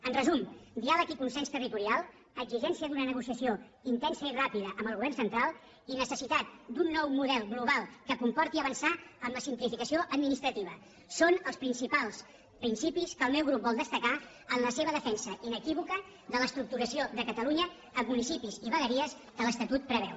en resum diàleg i consens territorial exigència d’una negociació intensa i ràpida amb el govern central i necessitat d’un nou model global que comporti avançar en la simplificació administrativa són els principals principis que el meu grup vol destacar en la seva defensa inequívoca de l’estructuració de catalunya en municipis i vegueries que l’estatut preveu